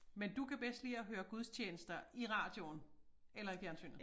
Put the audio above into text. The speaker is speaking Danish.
Men du kan bedst lide at høre gudstjenester i radioen eller i fjernsynet